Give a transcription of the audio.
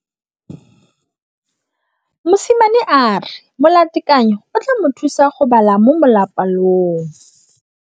Mosimane a re molatekanyô o tla mo thusa go bala mo molapalong.